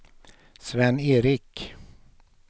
Sven-Erik